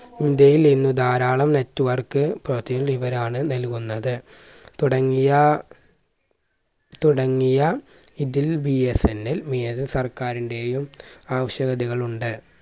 ഇന്ത്യയിൽ ഇന്ന് ധാരാളം network ഇവരാണ് നൽകുന്നത്. തുടങ്ങിയ തുടങ്ങിയ ഇതിൽ BSNL സർക്കാരിന്റെയും ആവശ്യകഥകൾ ഉണ്ട്.